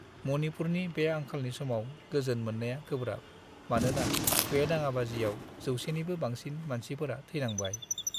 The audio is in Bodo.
मणिपुरनि बे आंखालनि समाव गोजोन मोननाया गोब्राब, मानोना बे दाङाबाजियाव जोसेनिबो बांसिन मानसिफोरा थैनांबाय।